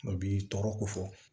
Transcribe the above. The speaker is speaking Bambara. O b'i tɔɔrɔ ko fɔ